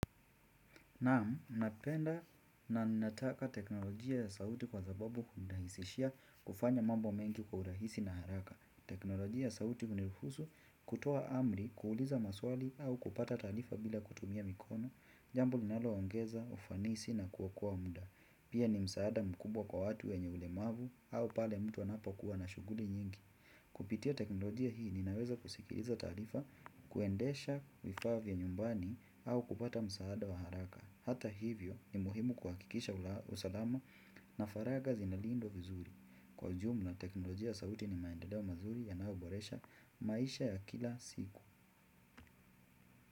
Naam, napenda na nataka teknolojia ya sauti kwa sababu hunirahisishia kufanya mambo mengi kwa urahisi na haraka. Teknolojia ya sauti huniruhusu kutoa amri kuuliza maswali au kupata taalifa bila kutumia mikono, jambo linaloongeza, ufanisi na kuokoa mda. Pia ni msaada mkubwa kwa watu wenye ulemavu au pale mtu anapokuwa na shughuli nyingi. Kupitia teknolojia hii ninaweza kusikiriza taarifa, kuendesha vifaa vya nyumbani au kupata msaada wa haraka. Hata hivyo ni muhimu kuhakikisha usalama na faragha zinaliindwa vizuri kwa ujumla teknolojia ya sauti ni maendeleo mazuri yanayoboresha maisha ya kila siku.